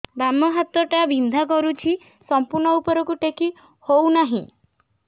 ବାମ ହାତ ଟା ବିନ୍ଧା କରୁଛି ସମ୍ପୂର୍ଣ ଉପରକୁ ଟେକି ହୋଉନାହିଁ